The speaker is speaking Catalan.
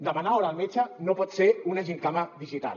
demanar hora al metge no pot ser una gimcana digital